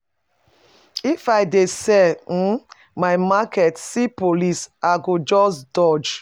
If I dey sell um my market see police, I go just dodge.